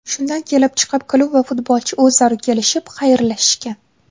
Shundan kelib chiqib, klub va futbolchi o‘zaro kelishib, xayrlashishgan.